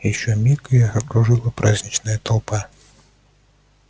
ещё миг и их окружила праздничная толпа